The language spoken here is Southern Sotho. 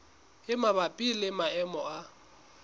e mabapi le maemo a